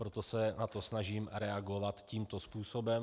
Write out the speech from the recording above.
Proto se na to snažím reagovat tímto způsobem.